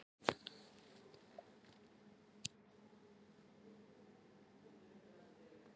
Margt fleira getur haft áhrif á einstaklingseðlið og þar með kynlöngun.